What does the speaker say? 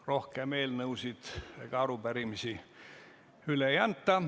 Rohkem eelnõusid ega arupärimisi üle ei anta.